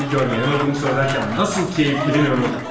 Porfiri iyi görme, yanıldığımı söylərkən nasıl keyifləniyordu?